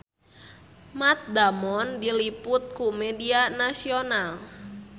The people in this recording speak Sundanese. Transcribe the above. Matt Damon diliput ku media nasional